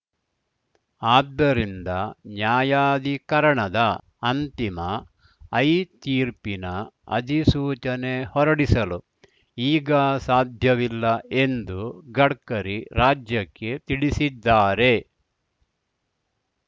ಆದ್ದರಿಂದ ನ್ಯಾಯಾಧಿಕರಣದ ಅಂತಿಮ ಐ ತೀರ್ಪಿನ ಅಧಿಸೂಚನೆ ಹೊರಡಿಸಲು ಈಗ ಸಾಧ್ಯವಿಲ್ಲ ಎಂದು ಗಡ್ಕರಿ ರಾಜ್ಯಕ್ಕೆ ತಿಳಿಸಿದ್ದಾರೆ